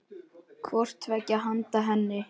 hvort tveggja handa henni.